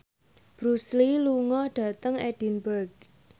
Bruce Lee lunga dhateng Edinburgh